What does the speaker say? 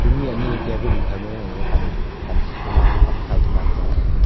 honi ani a table kho ma gaga pan khi keh mak lah pankhaw ke mak chong tega.